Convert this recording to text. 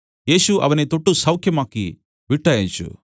യേശു അവനെ തൊട്ടു സൌഖ്യമാക്കി വിട്ടയച്ചു